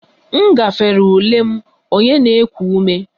M gafere ule m, onye na-eku ume